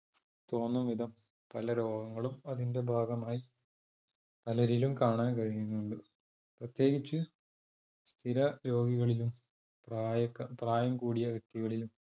തോന്നും വിധം പല രോഗങ്ങളും അതിന്റെ ഭാഗമായി പലരിലും കാണാൻ കഴിയുന്നുണ്ട്. പ്രത്യേകിച്ച് സ്ഥിര രോഗികളിലും പ്രായം കൂടിയ വ്യക്തികളിലും